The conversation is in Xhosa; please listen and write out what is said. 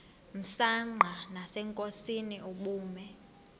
msanqa nasenkosini ubume